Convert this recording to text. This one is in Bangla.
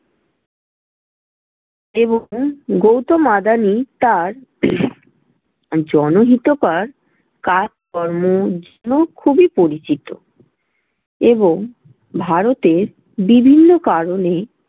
এবং গৌতম আদানি তার জনহিতকর কাজ-কর্মর জন্য খুবই পরিচিত। এবং ভারতের বিভিন্ন কারণে